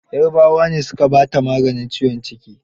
Yarabawa ne su ka baa ta maganin ciwon ciki.